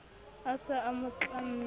a se a mo tlamme